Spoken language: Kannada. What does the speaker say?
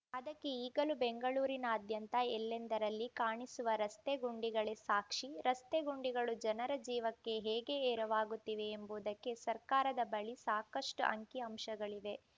ಅದಕ್ಕೆ ಈಗಲೂ ಬೆಂಗಳೂರಿನಾದ್ಯಂತ ಎಲ್ಲೆಂದರಲ್ಲಿ ಕಾಣಿಸುವ ರಸ್ತೆ ಗುಂಡಿಗಳೇ ಸಾಕ್ಷಿ ರಸ್ತೆ ಗುಂಡಿಗಳು ಜನರ ಜೀವಕ್ಕೆ ಹೇಗೆ ಎರವಾಗುತ್ತಿವೆ ಎಂಬುದಕ್ಕೆ ಸರ್ಕಾರದ ಬಳಿ ಸಾಕಷ್ಟುಅಂಕಿ ಅಂಶಗಳಿವೆ